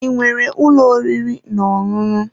I nwere ụlọ oriri n'ọṅụṅụ?